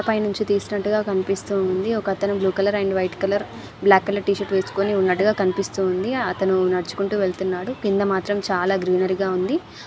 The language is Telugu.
పైనుంచి తీసినట్టుగా కనిపిస్తూ ఉంది. ఒకతను blue colour and black colour T-shirt వేస్కుని వున్నట్టుగా కనిపిస్తూ ఉంది. అతను నడుచుకుంటూ వెళ్తున్నాడు కింద మాత్రం చాల గ్రీనరీ గ ఉంది.